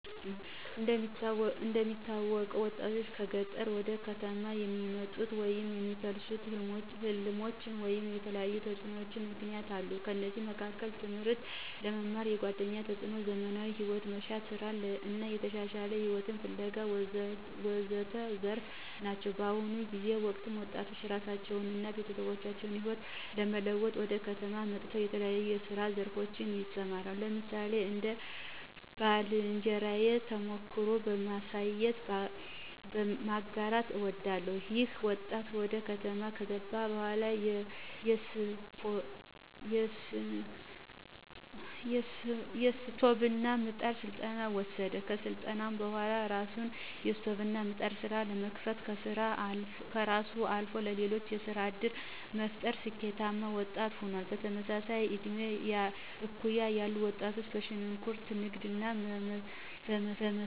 እንደሚታወቀው ወጣቶችን ከገጠር ወደ ከተሞች የሚያመጡ ወይም የሚያፋልሱ ሕልሞች ወይም የተለያዩ ተጽዕኖዎችና ምክነያቶች አሉ። ከነዚህም መካከል ትምህርትን ለመማር፣ የጓደኛ ተፅዕኖ፣ ዘመናዊ ሂወትን መሻት፣ ሥራን እና የተሻለ ሂወትን ፋለጋ ወዘተረፈ ናቸው። በአሁኑ ጊዜና ወቅት ወጣቶች የራሳቸውን አና የቤተሰባችን ህይወት ለመለወጥ ወደ ከተማ መጠው በተለያየ የስራ ዘርፎች ይሰማራሉ። ለምሳሌ አንድ የባልንጀራየን ተሞክሮ በማንሳት ማጋራት አወዳለሁ። ይኸ ወጣት ወደ ከተማ ከገባ በኋላ የስቶቭና ምጣድ ስልጠና ወሰደ። ከስልጠናውም በኋላ የራሱን የስቶቭና ምጣድ ስራ በመክፈትም ከራሱ አልፎ ለሌሎች የስራ ዕድል በመፍጠር ስኬታማ ወጣት ሆኗል። በተመሳሳይም በእድሜ እኩያ ያሉ ወጣቶች በሽንኩርት ንግድ በመሰማራት ውጤታማ ሆነዋል። ሌሎች ደግሞ ጅል ቦታ በመገኘት ላልተገባ ሂወት ተዳርገዋል።